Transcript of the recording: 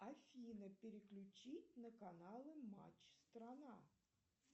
афина переключить на каналы матч страна